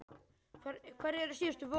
Hver eru þessi síðustu forvöð?